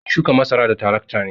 An yi shukan masara da tarakta ne.